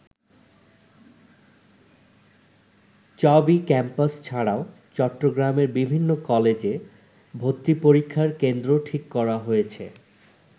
চবি ক্যাম্পাস ছাড়াও চট্টগ্রামের বিভিন্ন কলেজে ভর্তিপরীক্ষার কেন্দ্র ঠিক করা হয়েছে।